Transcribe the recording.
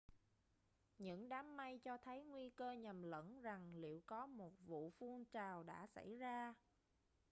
những đám mây cho thấy nguy cơ nhầm lẫn rằng liệu có một vu phun trào đã xảy ra